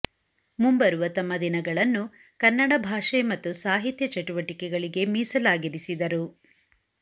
ಮುಂಬರುವ ತಮ್ಮ ದಿನಗಳನ್ನು ಕನ್ನಡ ಭಾಷೆ ಮತ್ತು ಸಾಹಿತ್ಯ ಚಟುವಟಿಕೆಗಳಿಗೆ ಮೀಸಲಾಗಿರಿಸಿದರು